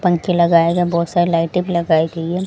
पंखे लगाए गए हैं बहोत सारी लाइटें भी लगाई गई है।